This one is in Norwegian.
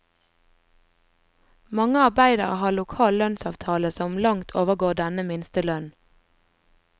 Mange arbeidere har lokal lønnsavtale som langt overgår denne minstelønnen.